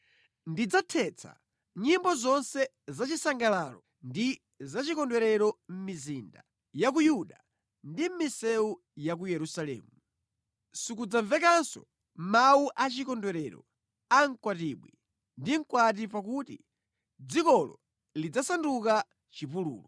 Ndidzathetsa nyimbo zonse zachisangalalo ndi zachikondwerero mʼmizinda ya ku Yuda ndi mʼmisewu ya ku Yerusalemu. Sikudzamvekanso mawu a chikondwerero a mkwatibwi ndi mkwati pakuti dzikolo lidzasanduka chipululu.”